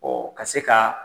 Ɔ ka se ka